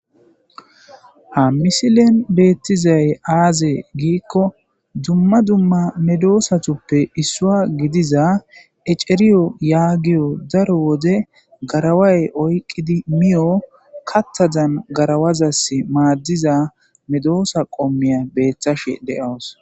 Hamisilen beettizay aaze giikko dumma dumma medoosatuppe issua gidiza eceriyo yaagiyo daro wode garaway oyqqidi miyo kattadan garawazas maaddiza medoosa qommiya beeththashe de'owos.